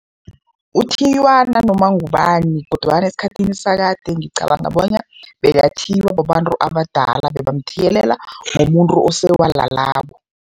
Uthiywa nanoma ngubani kodwana esikhathini sakade ngicabanga bona bekathiywa babantu abadala, bebamthiyelela ngomuntu osewalalako.